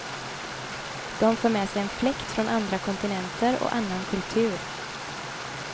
De för med sig en fläkt från andra kontinenter och annan kultur.